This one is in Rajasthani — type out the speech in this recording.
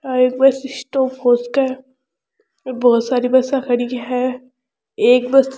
आ एक बस स्टॉप हो सके है बहुत सारा बसा खड़ी है एक बस --